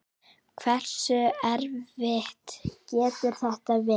Hversu erfitt getur þetta verið?